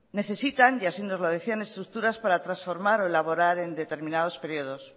necesitan y así nos lo decían estructuras para transformar o elaborar en determinados periodos